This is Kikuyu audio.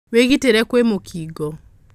Wĩgitĩre kwĩmũkingo.